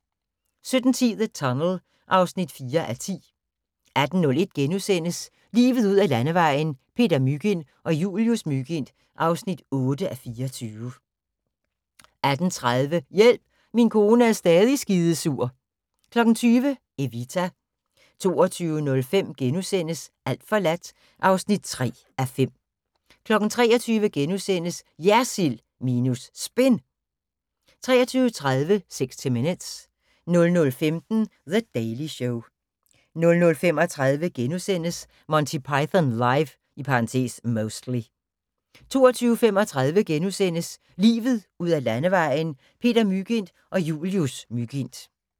17:10: The Tunnel (4:10) 18:01: Livet ud ad Landevejen: Peter Mygind og Julius Mygind (8:24)* 18:30: Hjælp, min kone er stadig skidesur 20:00: Evita 22:05: Alt forladt (3:5)* 23:00: JERSILD minus SPIN * 23:30: 60 Minutes 00:15: The Daily Show 00:35: Monty Python Live (Mostly) * 02:35: Livet ud ad Landevejen: Peter Mygind og Julius Mygind (8:24)*